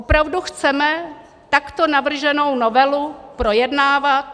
Opravdu chceme takto navrženou novelu projednávat?